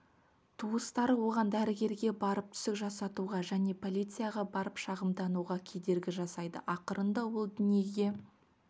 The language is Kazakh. туыстары оған дәрігерге барып түсік жасатуға және полицияға барып шағымдануға кедергі жасайды ақырында ол дүниеге